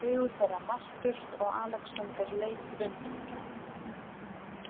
Augu þeirra mættust og Alexander leit undan.